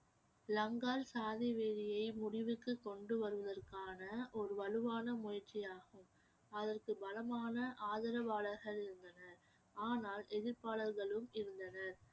லங்கால் சாதிவெறியை முடிவுக்கு கொண்டு வருவதற்கான ஒரு வலுவான முயற்சியாகும் அதற்கு பலமான ஆதரவாளர்கள் இருந்தனர் ஆனால் எதிர்ப்பாளர்களும் இருந்தனர்